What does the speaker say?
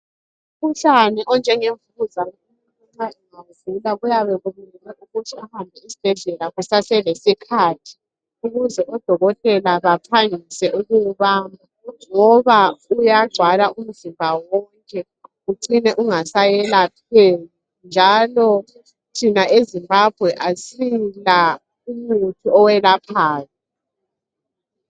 Umkhuhlane onjengemvukuzane umuntu nxa ewugula, uyabe ufuna ukuthi ahambe esibhedlela kusaselesikhathi, ukuze odokotela baphangise ukuwubamba, ngoba uyagcwala umzimba wonke. Ucine ungaseyelapheki, njalo thina eZimbabwe kasila umuthi oyelaphayo.